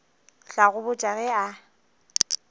tla go botša ge a